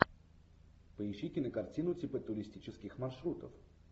поищи кинокартину типа туристических маршрутов